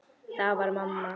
Það var mamma.